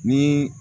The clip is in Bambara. Ni